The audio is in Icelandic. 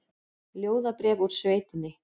Ljóðabréf úr sveitinni